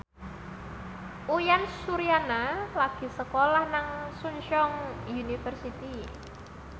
Uyan Suryana lagi sekolah nang Chungceong University